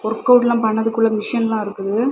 Workout எல்லா பண்ணதுக்குள்ள மெஷின்ல இருக்குது.